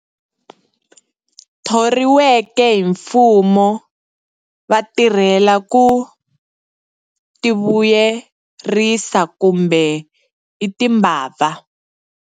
Thoriweke hi mfumo va tirhela ku tivuyerisa kumbe i timbabva.